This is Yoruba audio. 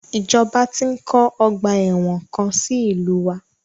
Ìjọba ti ń kọ́ ọgbà ẹ̀wọ̀n kan sí ìlúu wa.